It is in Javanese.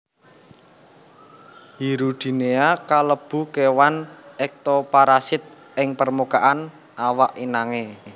Hirudinea kalebu kéwan ektoparasit ing permukaan awak inangé